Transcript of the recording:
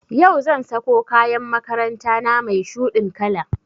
Yau zan sako kayan makaranta na mai shuɗin kala